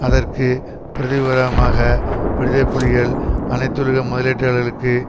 அதற்கு பிரதி உபகாரமாக விடுதலை புலிகள் அனைத்துலக முதலீட்டாளர்களுக்கு